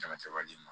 Kɛnɛsɛbaden ma